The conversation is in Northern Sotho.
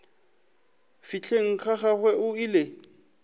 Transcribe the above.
fihleng ga gagwe o ile